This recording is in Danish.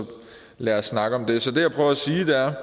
lad os snakke om det så det jeg prøver at sige er